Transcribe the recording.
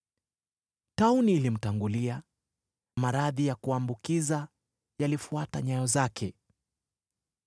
Tauni ilimtangulia; maradhi ya kuambukiza yalifuata nyayo zake.